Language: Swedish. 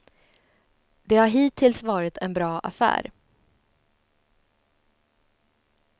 Det har hittills varit en bra affär.